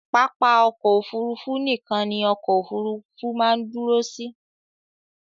Pápá ọkọ̀ Òfurufú nìkan ni ọkọ òfurufú máa ń dúró sí.